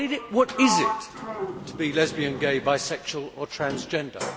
What is it to be lesbian, gay, bisexual or transgender?